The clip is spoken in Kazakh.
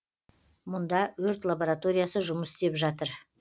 мұнда өрт лабораториясы жұмыс істеп жатыр